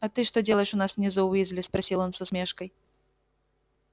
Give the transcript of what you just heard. а ты что делаешь у нас внизу уизли спросил он с усмешкой